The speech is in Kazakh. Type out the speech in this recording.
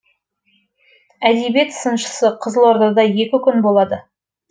әдебиет сыншысы қызылордада екі күн болады